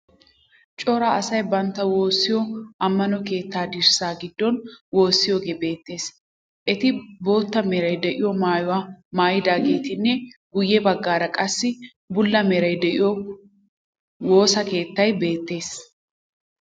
Cora asay bantta woossiyo ammano keettaa dirssaa giddon woossiyogee beettees. Eti bootta meray de'iyo maayuwa maayidageetinne guyye baggaara qassi bulla meray de'iyo woosa keettay beettees